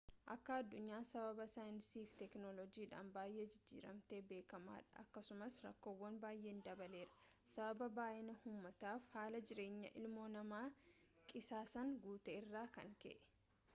akka aduunyaan sababa saayinsiif teekinoolojiidhan baay'ee jijjiiramte beekamaa dha akkasuma rakkoom baayee dabaleerra sababa baay'inaa umaatafi haala jiraanyaa ilmoo namaa qisaasaan guute irraa kan ka'e